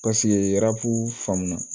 Paseke faamu na